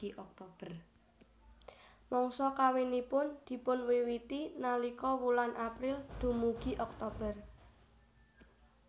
Mangsa kawinipun dipunwiwiti nalika wulan April dumugi Oktober